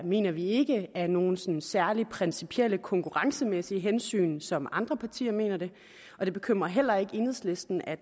mener vi ikke af nogle sådan særlig principielle konkurrencemæssige hensyn som andre partier mener det og det bekymrer heller ikke enhedslisten at